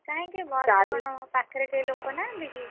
କାହିଁକି ବସ ରେ କଣ ପାଖରେ କେହି ଲୋକ ନାହାନ୍ତି କି?